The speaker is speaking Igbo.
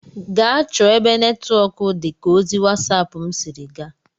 Gaa chọọ ebe netwọk dị ka ozi wasap m sịrị gaa!